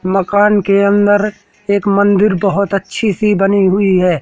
मकान के अंदर एक मंदिर बहोत अच्छी सी बनी हुई है।